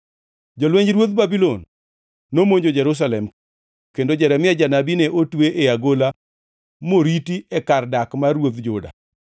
Jolwenj ruodh Babulon ne monjo Jerusalem, kendo Jeremia janabi ne otwe e agola moriti e kar dak mar ruodh Juda.